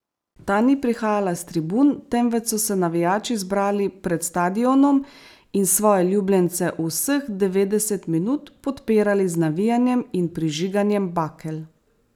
Ta ni prihajala s tribun, temveč so se navijači zbrali pred stadionom in svoje ljubljence vseh devetdeset minut podpirali z navijanjem in prižiganjem bakel.